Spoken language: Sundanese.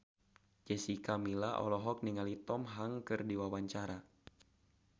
Jessica Milla olohok ningali Tom Hanks keur diwawancara